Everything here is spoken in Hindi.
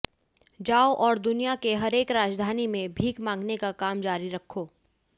जाओ और दुनिया के हरेक राजधानी में भीख मांगने का काम जारी रखो